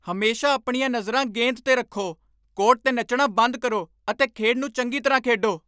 ਹਮੇਸ਼ਾ ਆਪਣੀਆਂ ਨਜ਼ਰਾਂ ਗੇਂਦ 'ਤੇ ਰੱਖੋ! ਕੋਰਟ 'ਤੇ ਨੱਚਣਾ ਬੰਦ ਕਰੋ ਅਤੇ ਖੇਡ ਨੂੰ ਚੰਗੀ ਤਰ੍ਹਾਂ ਖੇਡੋ।